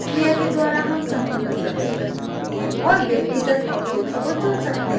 इस क्रिया के द्वारा हम समूह में प्रवेश कर सकते हैं और व्यक्तिगत objects को चुन सकते हैं